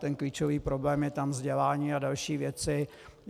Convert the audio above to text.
Ten klíčový problém je tam vzdělání a další věci.